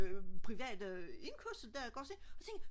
private indkørsel der ik ogs